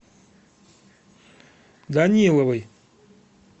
даниловой